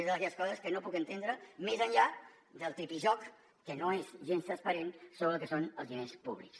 és d’aquelles coses que no puc entendre més enllà del tripijoc que no és gens transparent sobre el que són els diners públics